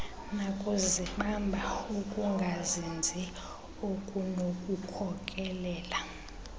nakuzibamba ukungazinzi okunokukhokelela